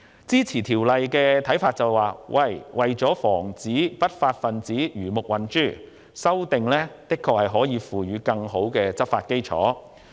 支持《條例草案》的意見認為，為防不法分子魚目混珠，修訂的確有助提供更好的執法基礎。